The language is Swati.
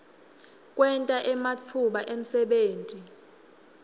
kwenta ematfuba emsebenti